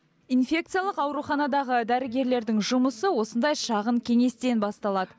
инфекциялық ауруханадағы дәрігерлердің жұмысы осындай шағын кеңестен басталады